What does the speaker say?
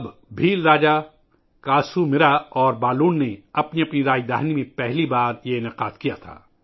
پھر بھیل بادشاہوں، کسومار اور بلون نے پہلی بار اپنے اپنے دارالحکومتوں میں ان تقریبات کا اہتمام کیا